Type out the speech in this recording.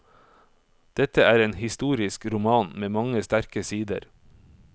Dette er en historisk roman med mange sterke sider.